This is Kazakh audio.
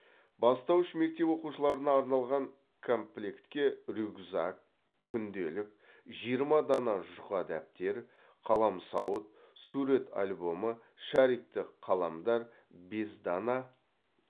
бастауыш мектеп оқушыларына арналған комплектке рюкзак күнделік жиырма дана жұқа дәптер қаламсауыт сурет альбомы шарикті қаламдар бес дана